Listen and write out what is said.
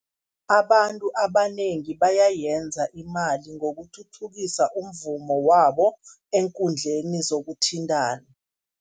Abantu abanengi bayayenza imali ngokuthuthukisa umvumo wabo, eenkundleni zokuthintana.